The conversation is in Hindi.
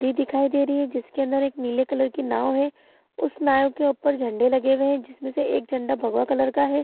नदी दिखाई दे रही है जिसके अंदर एक नीले कलर की नाव है उस नाव के ऊपर झंडे लगे हुए है जिसमे से एक झंडा भगवा कलर का है ।